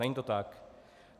Není to tak.